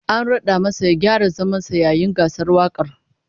An rad'a masa ya gyara zaman sa yayin gasar wakar